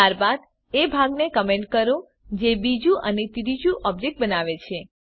ત્યારબાદ એ ભાગને કમેંટ કરો જે બીજું અને ત્રીજું ઓબ્જેક્ટ બનાવે છે